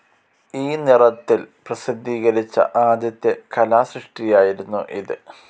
ഈ നിറത്തിൽ പ്രസിദ്ധീകരിച്ച ആദ്യത്തെ കലാസൃഷ്ടിയായിരുന്നു ഇത്.